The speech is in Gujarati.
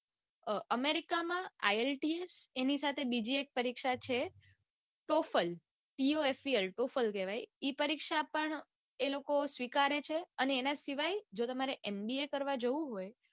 અઅ america માં ielts ની સાથે બીજી એક પરીક્ષા છે total ઓએફએણ tofel વાય ઈ પરીક્ષા આપવાનું એ લોકો સ્વીકારે છે અને એના સિવાય જો તમારે mba રવા જાઉં હોય